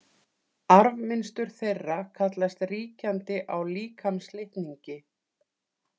Arfmynstur þeirra kallast ríkjandi á líkamslitningi.